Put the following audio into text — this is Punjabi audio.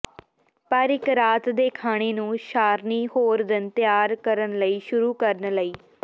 ਪਰ ਇੱਕ ਰਾਤ ਦੇ ਖਾਣੇ ਨੂੰ ਸਾਰਣੀ ਹੋਰ ਦਿਨ ਤਿਆਰ ਕਰਨ ਲਈ ਸ਼ੁਰੂ ਕਰਨ ਲਈ